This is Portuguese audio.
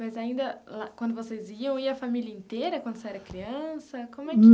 Mas ainda quando vocês iam, ia a família inteira quando você era criança?